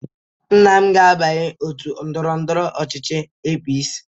Nna m ga-abanye ótù ndọrọ ndọrọ ọchịchị APC.